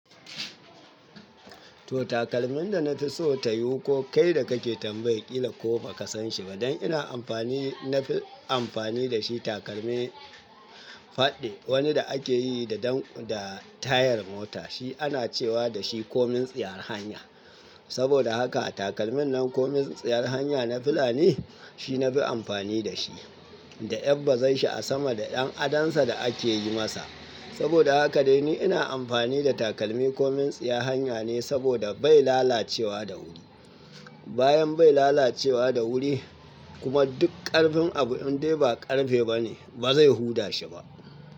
To takalmin da na fi so ta yiwu ko kai da kake tambayi ƙila ko ba ka san shi ba, don ina amfani, na fi amfani da shi takalmi fadde wani da ake yi da dan da tayar mota shi ana cewa da shi komin tsiyar hanya. Saboda haka a takalmin nan komin tsiyar hanya na filani shi na fi amfani da shi, da yabbazarshi asama da ƴan adansa da ake yi masa. Saboda haka dai ni ina amfani da takalmi komin tsiyar hanya ne saboda bai lalacewa da wuri. Bayan bai lalacewa da wuri kuma duk ƙarfin abu in dai ba ƙarfe ba ne ba zai huda shi ba.